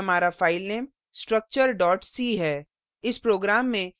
ध्यान दें कि हमारा file structure c है